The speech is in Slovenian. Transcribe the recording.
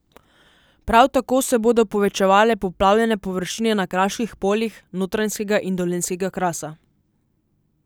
Prav tako se bodo povečevale poplavljene površine na kraških poljih Notranjskega in Dolenjskega krasa.